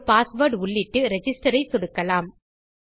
ஒரு பாஸ்வேர்ட் உள்ளிட்டு ரிஜிஸ்டர் ஐ சொடுக்கலாம்